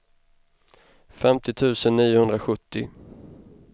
femtio tusen niohundrasjuttio